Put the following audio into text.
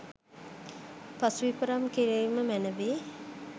පසු විපරම් කිරීම මැනවි.